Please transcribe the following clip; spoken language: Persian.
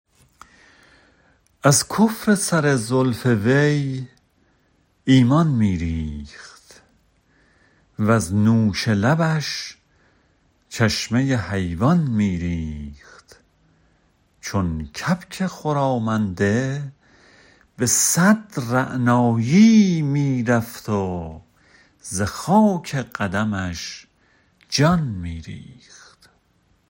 از کفر سر زلف وی ایمان می ریخت وز نوش لبش چشمه حیوان می ریخت چون کبک خرامنده به صد رعنایی می رفت و ز خاک قدمش جان می ریخت